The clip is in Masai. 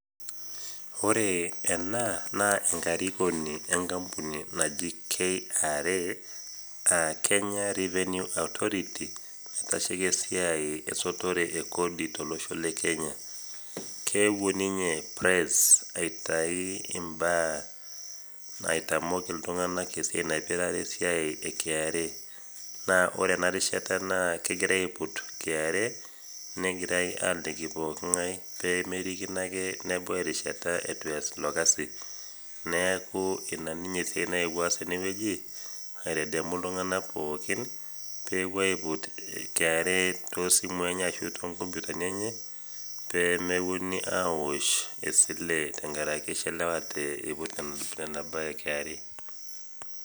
ore ena naa enakrikoni enkampuni naji KRA kenya revenue authority naitasheki esiai esotore ekodi tolosho le kenya, keewuo ninye press aitamok iltungank esiai naipirare esiai e kra naa ore ena rishata naa kegira aiput kra negirae aaliki pooki ngae pee merikino ake, nebau erishata eitu ees ilo kasi, neeku ina ninye esiai nayewuo aas tene wueji aitadamu, iltungnak pookin peepuo aiput kra toosimui enye ashu nkomputani enye pee mepuonunui aosh esile tenkaraki ishiliwate tena bae e kra.